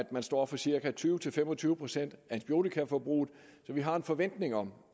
man står for cirka tyve til fem og tyve procent af antibiotikaforbruget så vi har en forventning om